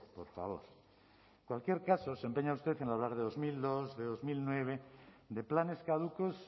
por favor en cualquier caso se empeña usted en hablar de dos mil dos de dos mil nueve de planes caducos